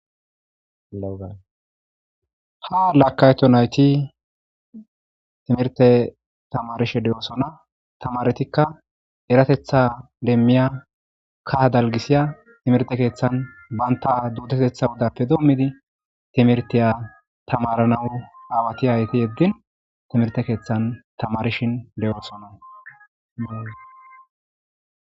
Haa marikato nayiti timirtee tamarisishshe de'osona tamarettikka erateththa demiya kaha daliggisiya timirtte keththanni banitta ajuteththa odappe dommidi timiritiya tamaranawu awayi ayeti yeedin timirtte keththanni tamarisjshe de'osonna .